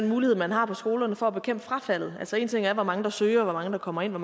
mulighed man har på skolerne for at bekæmpe frafaldet èn ting er hvor mange der søger hvor mange der kommer ind og